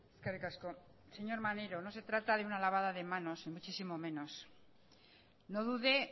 eskerrik asko señor maneiro no se trata de una lavada de manos ni muchísimo menos no dude